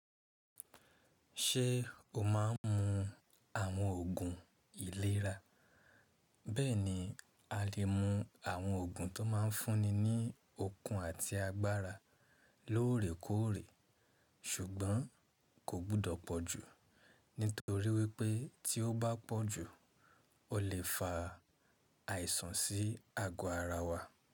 Ṣé o má ń mu àwọn òògùn ìlera? Bẹ́ẹ̀ni a lè mu àwọn òògùn tó má ń fúnni ní okun àti agbára lóòrèkóòrè ṣùgbọ́n kò gbọ́dọ̀ pọ̀ jù nítorí wípé tí ó bá pọ̀ jù, o lè fa àìsàn sí ago ara wa.